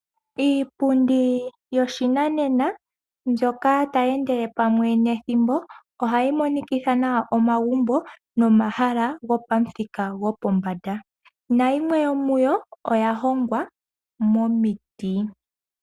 Iipundi yoshinanena mbyoka tayi endele pamwe nethimbo ohayi monikitha nawa omagumbo momahala gopamuthika gopombanda. Nayimwe yomuyo oya hongwa momiti.